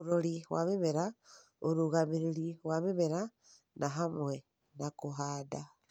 ũrori wa mĩmera: ũrũgamĩrĩri wa mĩmera nĩ hamwe na kũhanda,